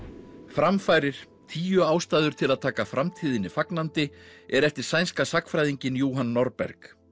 framfarir tíu ástæður til að taka framtíðinni fagnandi er eftir sænska sagnfræðinginn Johan Norberg